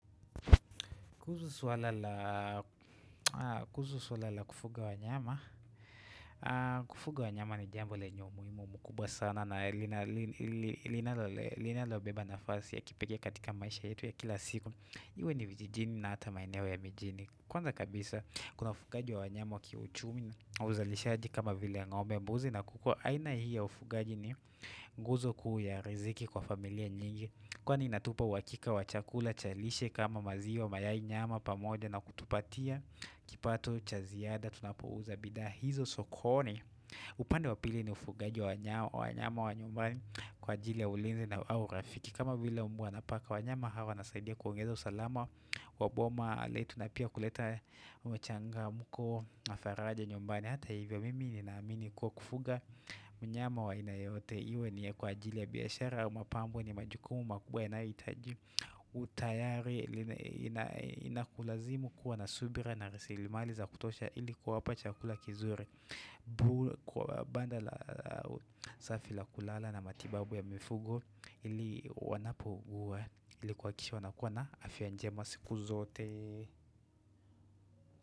Kuhusu suala la kufuga wanyama. Kufuga wanyama ni jambo le nye umuimu mkubwa sana na linalo beba nafasi ya kipekee katika maisha yetu ya kila siku. Iwe ni vijijini na ata maeneo ya mijini. Kwanza kabisa kuna ufugaji wa wanyama waki uchumi na uzalishaji kama vile ya ng'ombe mbuzi na kuku. Aina hii ya ufugaji ni guzo kuu ya riziki kwa familia nyingi Kwa ni inatupa uakika wachakula chalishe kama maziwa mayai nyama pamoja na kutupatia kipato chaziada tunapouza bidhaa hizo sokoni upande wapili ni ufugaji wa nyama wa nyumbani kwa ajili ya ulinzi na au rafiki kama vile mbwa na paka wa nyama hawa wanasaidia kuongeza usalama wa boma Le tunapia kuleta umechanga mko na faraja nyumbani Hata hivyo mimi ni naamini kuwa kufuga mnyama wa aina yeyote Iwe ni kwa ajili ya biashara mapambo ni majukumu makubwa yanayoitaji utayari Inakulazimu kuwa na subira na raslimali za kutosha ilikuwa kuwapa chakula kizuri Kwa banda la safi la kulala na matibabu ya mifugo ili wanapougua ilikuakikisha wanakuwa na afyanjema siku zote.